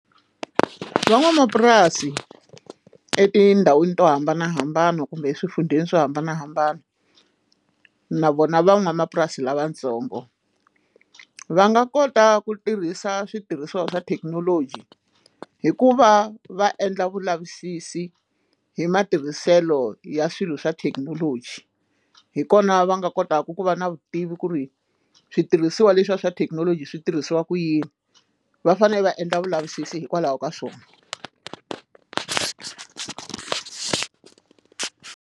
Van'wamapurasi etindhawini to hambanahambana kumbe exifundzheni swo hambanahambana na vona van'wamapurasi lavatsongo va nga kota ku tirhisa switirhisiwa swa thekinoloji hikuva va endla vulavisisi hi matirhiselo ya swilo swa thekinoloji hikona va nga kotaka ku va na vutivi ku ri switirhisiwa leswiya swa thekinoloji swi tirhisiwa ku yini va fanele va endla vulavisisi hikwalaho ka swona.